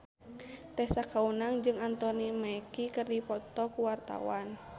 Tessa Kaunang jeung Anthony Mackie keur dipoto ku wartawan